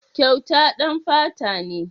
Kyauta ɗan fata ne.